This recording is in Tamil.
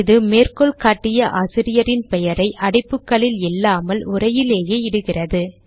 இது மேற்கோள் காட்டிய ஆசிரியரின் பெயரை அடைப்புகளில் இல்லாமல் உரையிலேயே இடுகிறது